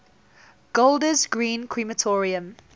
golders green crematorium